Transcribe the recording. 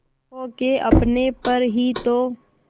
खो के अपने पर ही तो